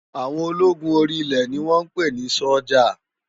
Áwòn ólógún óri ilè ni wòn pé ni sójá